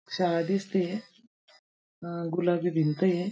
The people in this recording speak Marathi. शाळा दिसती ये. अं गुलाबी भिंत ये.